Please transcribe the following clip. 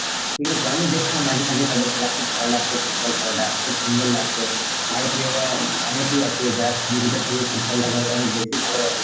ঠিক আছে, আমিও দেখতাম মাঝে মাঝে তাদের খেলা খুব ভালো লাগতো football খেলাটা খুব সুন্দর লাগতো. ভারতীয়রা অনেকই আছে যারা cricket এর থেকেও football টাকে হয়তো অনেক বেশি ভালোবাসে.